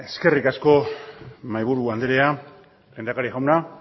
eskerrik asko mahaiburu andrea lehendakari jauna